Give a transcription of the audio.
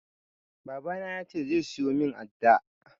Baba na ya ce zai siyo min adda